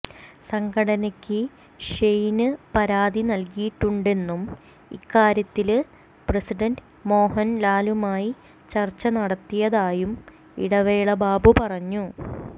സംഘടനക്ക് ഷെയിന് പരാതി നില്കിയിട്ടുണ്ടെന്നും ഇക്കാര്യത്തില് പ്രസിഡന്റ് മോഹന് ലാലുമായി ചര്ച്ച നടത്തിയതായും ഇടവേള ബാബു പറഞ്ഞു